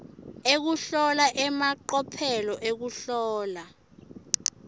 ekuhlola emacophelo ekuhlola